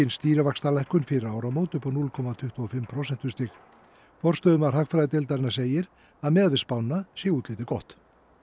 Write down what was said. stýrivaxtalækkun fyrir áramót upp á núll komma tuttugu og fimm prósentustig forstöðumaður hagfræðideildarinnar segir að miðað við spána sé útlitið gott